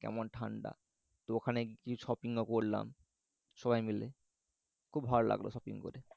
কেমন ঠাণ্ডা তো ওখানে কিছু shopping ও করলাম সবাই মিলে খুব ভালো লাগলো shopping করে